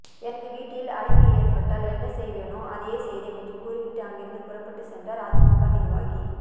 எனது வீட்டில் அடைப்பு ஏற்பட்டால் என்ன செய்வேனோ அதையே செய்தேன் என்று கூறிவிட்டு அங்கிருந்து புறப்பட்டு சென்றார் அதிமுக நிர்வாகி